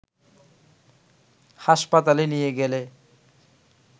হাসপাতালে নিয়ে গেলে